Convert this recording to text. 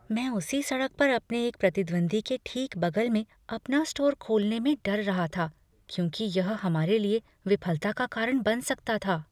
मैं उसी सड़क पर अपने एक प्रतिद्वंद्वी के ठीक बगल में अपना स्टोर खोलने में डर रहा था क्योंकि यह हमारे लिए विफलता का कारण बन सकता था।